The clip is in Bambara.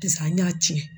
Sisan an y'a ci